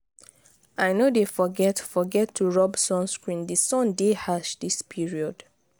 i no dey forget forget to rob sunscreen di sun dey harsh dis period.